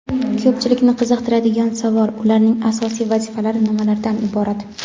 Ko‘pchilikni qiziqtiradigan savol - ularning asosiy vazifalari nimalardan iborat?.